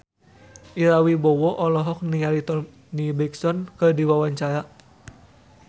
Ira Wibowo olohok ningali Toni Brexton keur diwawancara